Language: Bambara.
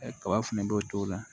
Ɛ kaba fɛnɛ b'o t'o la